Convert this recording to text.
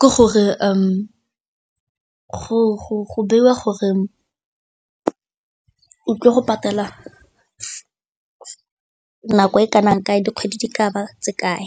ke gore go beiwa gore o tlile go patala nako e kanang kae, dikgwedi di ka ba tse kae?